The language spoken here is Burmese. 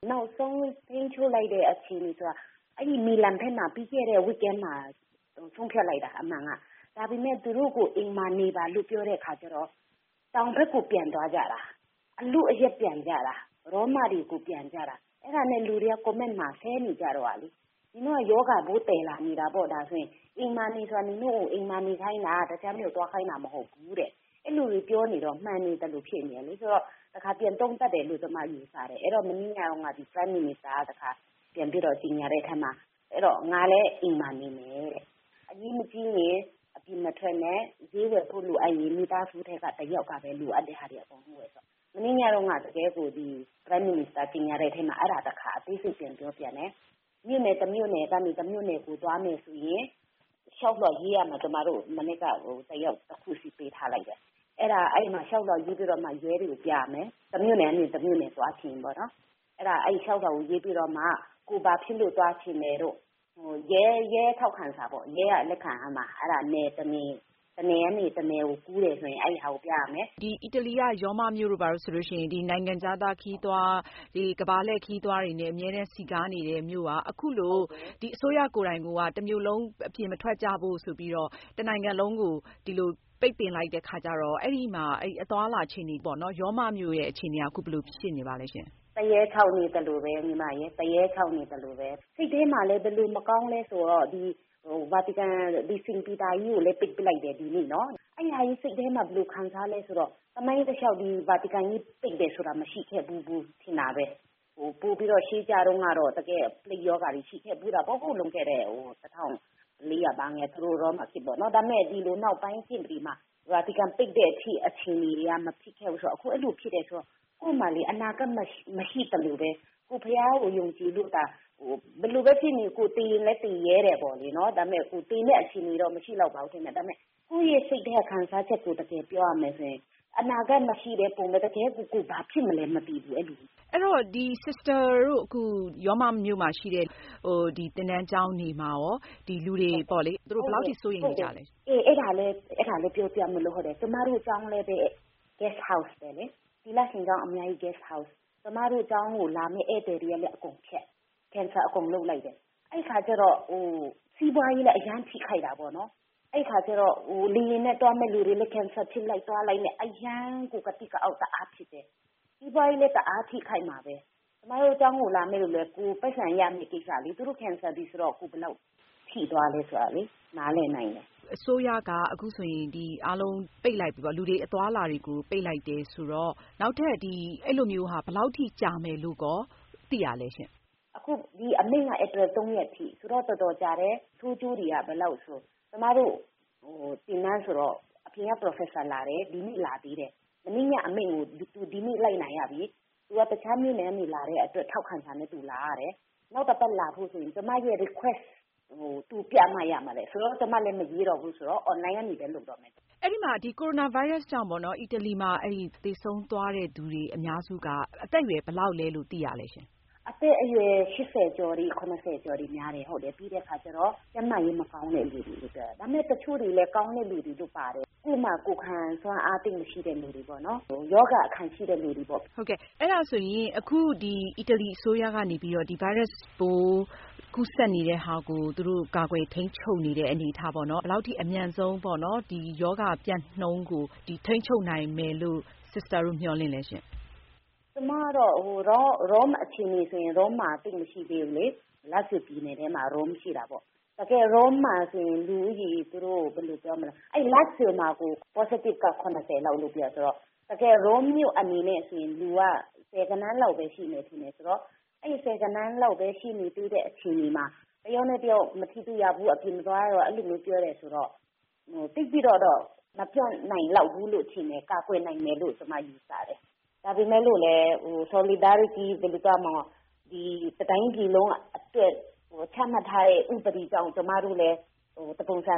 နောက်ဆုံးထိန်းချုပ်လိုက်တဲ့ အချိန်က အဲဒီ မီလန်ဘက်မှာ ပြီးခဲ့တဲ့ အပတ်မှာ ဆုံးဖြတ်လိုက်တာ အမှန်က ။ ဒါပေမယ့် သူတို့ကို အိမ်မှာနေပါလို့ ပြောတဲ့အခါကျတော့ တောင်ဘက်ကို ပြန်သွားကြတာ။ အလုအယက်ပြန်တယ် ရောမကို ပြန်ကြတာ ။ အဲဒါနဲ့ လူတွေက comment မှာ ဆဲနေတာလေ နင်တို့က ရောဂါပိုးသယ်လာတာလေ။ အိမ်မှာနေဆိုတာ နင်တို့ကို အိမ်မှာ နေခိုင်းတာ တခြားမြို့ကိုသွားခိုင်းတာ မဟုတ်ဘူးတဲ့။ အဲဒီလို တွေပြောနေတော့ မှန်နေသလိုတွေ ဖြစ်နေတယ်လေ ဆိုတော့ တခါ ပြန်သုံးသပ်တယ်လို့ ကျမယူဆတယ် ။ မနေ့ကတုန်းက Prime Minister က တခါ ကြေညာတဲ့အထဲမှာ ငါလည်း အိမ်မှာ နေမယ်။ အရေးမကြီးရင် အပြင်မထွက်နဲ့ ဈေးဝယ်ဖို့လိုရင် မိသားစုထဲက တယောက်ပဲ အကုန်လုံးလိုတာတွေ ဝယ်ဖို့။ မနေ့ညတုန်းကတော့ Prime Minister ကြေညာတဲ့အထဲမှာ အဲဒါ တခါ အသေးစိတ်ပြန်ပြောတယ်။ မြို့နယ် တမြို့နယ်ကနေ တမြို့နယ်ကို သွားမယ်ဆိုရင် လျှောက်လွှာရေးရမယ် ကျမတို့ကို တယောက် တခုစီ ပေးထားတယ်။ အဲဒီလျှောက်လွှာရေးပြီးတော့မှ ရဲတွေကို ပြရမယ်။ တမြို့နယ်ကနေ တမြို့နယ်ကို သွားမယ်ဆိုရင်ပေါ့နော်။ လျှောက်လွှာရေးပြီးတော့မှ ကိုယ်ဘာဖြစ်လို့ သွားချင်တယ်တို့ ရဲက ထောက်ခံစာလည်းလိုတယ်။ တနေရာကနေ တနေရာကို ကူးတယ်ဆိုရင် အဲဒါကို ပြရမယ်။ အီတလီက ရောမမြို့တို့ဆိုရင် နိုင်ငံခြားသား ခရီးသွား၊ ကမ္ဘာလည့် ခရီးသွားတွေနဲ့ အမြဲစည်ကားနေတဲ့ မြို့က အခုလို အစိုးရကိုယ်တိုင်က တမြို့လုံး အပြင်မထွက်ကြဖို့ ဆိုပြီးတော့ တနိုင်ငံလုံးကို ပိတ်ပင်လိုက်တဲ့ အခါကျတော့ အဲဒီမှာ ရောမမြို့အခြေအနေက ဘယ်လိုဖြစ်နေပါသလဲ။ သရဲခြောက်နေသလိုပဲ ၊ စိတ်ထဲမှာလည်း ဘယ်လိုမကောင်းသလဲဆိုတော့ Vatican ကြီးကိုလည်း ပိတ်လိုက်တယ်။ အဲဒီဟာကြီး စိတ်ထဲမှာ ဘယ်လိုခံစားသလဲဆိုတော့ သမိုင်းတလျှောက် Vatican ကြီး ပိတ်တယ်ဆိုတာ မရှိခဲ့ဘူး ထင်တာပဲ။ ပိုပြီးတော့ ရှေးတုန်းကတော့ ပလိပ်ရောဂါတွေ ရှိခဲ့ဖူးတာပေါ့နော် လွန်ခဲ့တဲ့ နှစ် ၁၄၀၀ တို့ ဘာတို့။ ဒါပေမယ့် နောက်ပိုင်းနှစ်တွေမျာ Vatican ကြီး ပိတ်တဲ့အထိ အခြေအနေက မဖြစ်ခဲ့ဘူးဆိုတော့ အခုအဲလိုဖြစ်တယ်ဆိုတော့ ကိုယ့်မှာ အနာဂါတ်မရှိသလိုပဲ။ ကိုယ်ဘုရားကို ယုံကြည်လို့သာ ဘယ်လိုပဲ ဖြစ်နေ ကိုယ် သေလည်း သေရဲတယ်ပေါ့လေ။ ဒါပေမယ့် သေမယ့် အခြေအနေတော့ မရှိလောက်ပါဘူး ဒါပေမယ့် ကိုယ့်စိတ်ထဲက ခံစားချက်ကို တကယ်ပြောရမယ်ဆိုရင် အနာဂါတ်မရှိတဲ့ ပုံစံ တကယ် ကိုယ်ဘာဖြစ်မလဲမသိဘူး။ အဲဒီတော့ Sister တို့အခု ရောမမြို့မှာရှိတဲ့ သင်တန်းကျောင်းတွေမှာရော လူတွေ ဘယ်လောက်အထိ စိုးရိမ်နေကြသလဲ။ ကျမတို့ ကျောင်းလည်း သီလရှင် Guest House ပဲလေ။ ကျမတို့ ကျောင်းကို လာမယ့် ဧည့်သည်တွေလည်း အကုန်ဖျက်လိုက်တယ် အဲဒီအခါကျတော့ စီးပွားရေးလည်း အရမ်းထိခိုက်တာပေါ့နော်။ လေယာဉ်နဲ့ သွားမယ့်လူတွေလည်း cancel ဖြစ်လိုက် သွားလိုက်နဲ့ အရမ်းကို ကသိကအောက် တအားဖြစ်တယ်။ စီးပွားရေးလည်း တအားထိခိုက်မှာပဲ ကျမတို့ ကျောင်းကိုလာမယ့်လူလည်း ကိုယ်ပိုက်ဆံရမယ့် ကိစ္စလေ သူတို့ cancel ပြီဆိုတော့ ကိုယ်ဘယ်လောက် ထိသွားသလဲ နားလည်နိုင်တယ်။ အစိုးရက အခုဆိုရင် လူတွေအသွားအလာ အားလုံး ပိတ်လိုက်ပြီဆိုတော့ နောက်ထပ် ဒီလိုမျိုး ဘယ်လောက် ကြာမယ်လို့ သိရသလဲ။ အခု ဒီအမိန့်က ဧပြီ ၃ ရက်အထိ ဆိုတော့ တော်တော်ကြတယ်။ ဆိုးကျိုးတွေက ဘယ်လောက်လဲဆိုတော့ ကျမတို့ကိုတော့ အပြင်က Professor လာတယ် ဒီနေ့လာသေးတယ်။ မနေ့က အမိန့်ကို ဒီနေ့ လိုက်နာရပြီ။ သူက တခြားမြို့နယ်ကနေ လာတဲ့အတွက် ထောက်ခံစာနဲ့ သူလာရတယ်။ နောက်တပတ်လာဖို့ဆိုရင် ကျမရဲ့ Request ကိုပြမှ သူလာလို့ ရမှာတဲ့။ ကျမလည်း မရေးတော့ဘူးဆိုတော့ သူ online ကနေပဲ လုပ်တော့မယ်။ အီတလီမှာ ကိုရိုနာဗိုင်းရပ်စ်ကြောင့် သေဆုံးသွားသူတွေဟာ အသက်အရွယ် ဘယ်လောက်ပိုင်းက အများဆုံးလဲလို့ သိရလဲရှင့်။ အသက်အရွယ် ကျော်တွေ၊ ကျော်တွေများတယ်။ ပြီးတော့ ကျန်းမာရေး မကောင်းတဲ့သူတွေလည်း ပါတယ်။ တချို့သူတွေကျတော့လည်း ကိုယ်ခံအား သိပ်မကောင်းတဲ့သူတွေ ပါပါတယ်။ ရောဂါအခံရှိတဲ့သူတွေပေါ့။ အီတလီအစိုးရကနေ ဒီဗိုင်းရပ်စ်ပိုး ကူးစက်မှုကို အမြန်ဆုံးကာကွယ်ထိန်းချုပ်နိုင်တဲ့ အနေအထားကိုရော ဘယ်လောက်ထိ မျှော်လင့်လည်းရှင့်။ ရောမမြို့က အခြေအနေဆိုရင် သိပ်မဆိုးသေးဘူးလေ။ ရောမမြို့က Lazio ပြည်နယ်တွင်းမှာရှိတာလေ။ ပြည်နယ်တွင်းမှာတော့ ရောဂါကူးစက်ခံရသူ လောက်ရှိတာဆိုတော့ ရောမမြို့မှာတော့ ဆယ်ဂဏန်းလောက်ပဲရှိတာပါ။ အဲတော့ တယောက်နဲ့တယောက်မထိရဘူး၊ အပြင်မသွားရဘူး ဆိုတော့ သိပ်ပြီးတော့ မပျံ့နိုင်လိုက်ဘူးလို့ ထင်တယ်။ ကာကွယ်နိုင်လောက်မယ်လို့ ထင်တယ်။ ဒါပေမဲ့လို့လည်း တတိုင်းပြည်လုံးအတွက် ချမှတ်ထားတဲ့ ဥပဒေကြောင့် ကျမတို့လည်း တပုံစံ